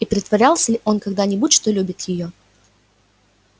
и притворялся ли он когда-нибудь что любит её